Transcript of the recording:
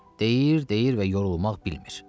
Deyir, deyir və yorulmaq bilmir.